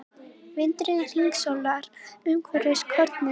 Vindurinn hringsólar umhverfis kornin.